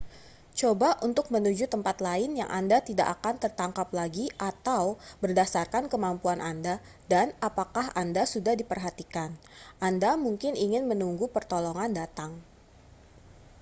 coba untuk menuju tempat lain yang anda tidak akan tertangkap lagi atau berdasarkan kemampuan anda dan apakah anda sudah diperhatikan anda mungkin ingin menunggu pertolongan datang